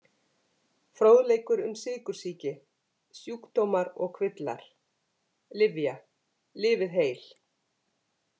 Fróðleikur um sykursýki „Sjúkdómar og kvillar“ Lyfja- Lifið heil.